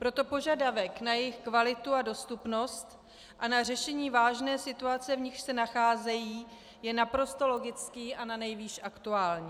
Proto požadavek na jejich kvalitu a dostupnost a na řešení vážné situace, v níž se nacházejí, je naprosto logický a nanejvýš aktuální.